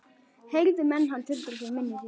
Heyrðu menn hann tuldra fyrir munni sér